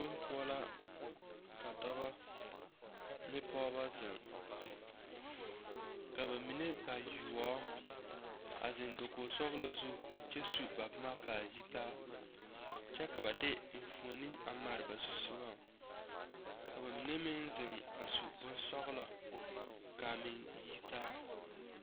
Bonpoɔ la ka dɔbɔ ne pɔɔbɔ zeŋ ka ba mine bayoɔbo a zeŋ dokoge sɔglaa zu kyɛ su ba boma kaa yi taa kyɛ ka ba de enfuone a mare ba zusugɔŋ ka ba mine meŋ zeŋ a su bonsɔglɔ kaa meŋ yitaa.